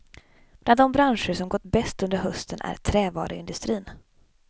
Bland de branscher som gått bäst under hösten är trävaruindustrin.